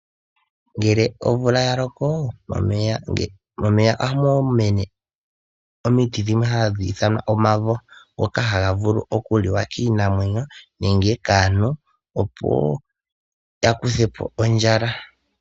Ngele omvula yaloko, momeya ohamu mene omiti dhimwe hadhi ithanwa omavo, ngoka haga liwa kiinamwenyo nenge kaantu, opo yakuthepo ondjala.